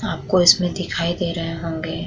आपको इसमें दिखाई दे रहे होंगे।